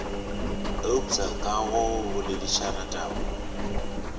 eupša ka go boledišana taba